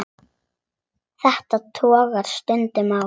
Þetta togast stundum á.